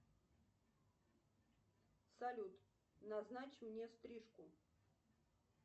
салют назначь мне стрижку